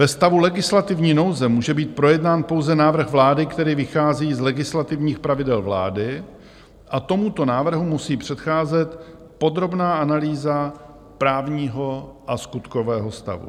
Ve stavu legislativní nouze může být projednán pouze návrh vlády, který vychází z legislativních pravidel vlády, a tomuto návrhu musí předcházet podrobná analýza právního a skutkového stavu.